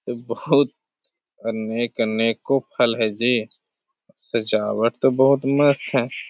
बहुत अनेक-अनेको फल है जी । सजावट तो बहोत मस्त है |